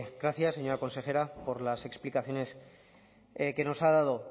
gracias señora consejera por las explicaciones que nos ha dado